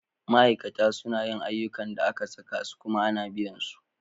Ma'aikata suna yin ayyukan da aka saka su kuma ana biyan su.